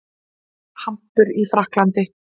Hampur í Frakklandi.